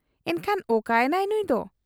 ᱮᱱᱠᱷᱟᱱ ᱚᱠᱟ ᱮᱱᱟᱭ ᱱᱩᱸᱭ ᱫᱚ ?